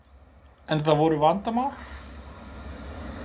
En það voru vandamál?